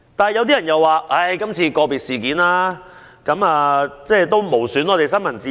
然而，有人認為，今次個別事件無損香港的新聞自由。